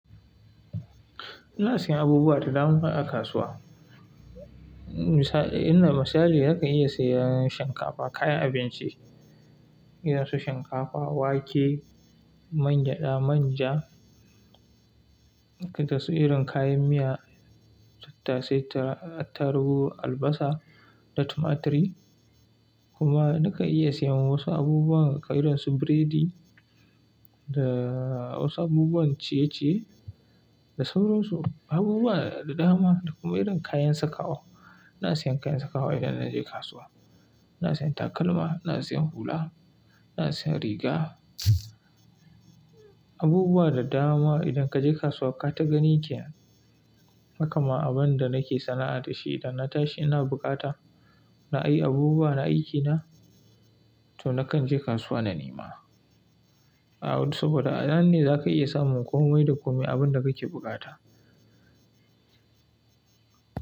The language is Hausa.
Ina siyan abubuwa da dama a kasuwa. Misali, nakan iya siyan shinkafa, kayan abinci, irin su shinkafa, wake, man gyada, manja, dukan su irin kayan miya, tattasai, tarubu, albasa da tumaturi. Kuma nakan iya siyan wasu abubuwan kai irin su biredi da wasu abubuwan ciye-ciye da sauransu. Abubuwa da dama da kuma irin kayan sakawa. Ina siyan kayan sakawa idan na je kasuwa. Ina siyan takalma, ina siyan hula, ina siyan riga. Abubuwa da dama idan ka je kasuwa ka ta gani kenan. Hakama abin da nake sana'a da shi idan na tashi ina bukata na yi abubuwa na aikina, to nakan je kasuwa na nema. A wani saboda a nan ne za ka iya samun komai da kome abin da kake buƙata.